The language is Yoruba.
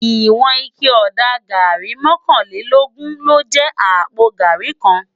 Iwòn iké òdá gàrí mòkánlélógùn ló jè àpó gàrí kán